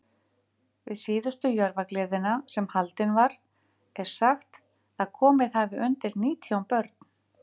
Við síðustu Jörfagleðina, sem haldin var, er sagt, að komið hafi undir nítján börn.